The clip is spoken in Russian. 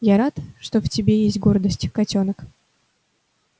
я рад что в тебе есть гордость котёнок